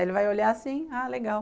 Ele vai olhar assim, ah, legal.